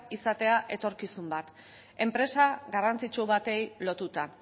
izatea etorkizun bat enpresa garrantzitsu bati lotuta